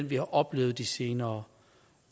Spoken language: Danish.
vi har oplevet de senere